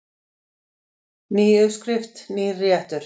Ný uppskrift, nýr réttur.